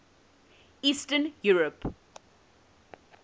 eastern europe